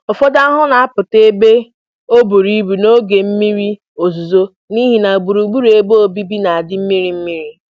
Ụfọdụ ahụhụ na-apụta ebe ọbụrụ ibu n'oge mmiri ozuzo n'ihi na gburugburu ebe obibi na-adị mmiri mmiri.